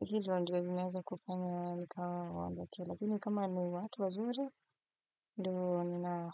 hivyo ndivyo vinaweza kufanya walikawa wa ambake, lakini kama ni watu wazuri, doona nao.